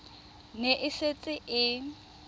e ne e setse e